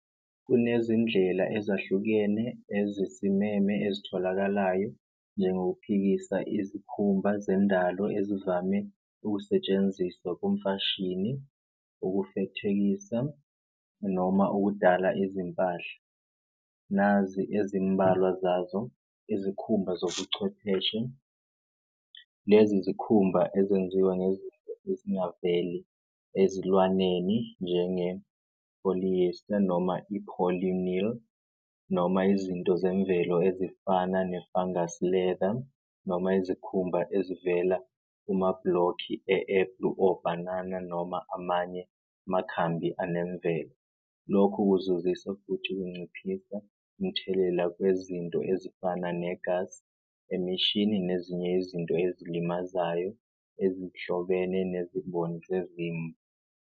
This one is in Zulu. Kunezindlela ezahlukene ezisimeme ezitholakalayo njengokuphikisa izikhumba zendalo ezivame ukusetshenziswa kumfashini, ukufethekisa noma ukudala izimpahla. Nazi ezimbalwa zazo izikhumba zobuchwepheshe, lezi zikhumba ezenziwa ngezinto ezingaveli ezilwaneni, njenge-polyester, noma i-polynil, noma izinto zemvelo ezifana ne-fungus leather noma izikhumba ezivela kumablokhi obhanana noma amanye amakhambi anemvelo. Lokhu kuzuzisa futhi kunciphisa umthelela wezinto ezifana negasi emishini nezinye izinto ezilimazayo ezihlobene nezimboni zezimvu.